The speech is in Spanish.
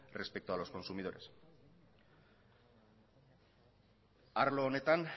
respeto a los consumidores arlo honetan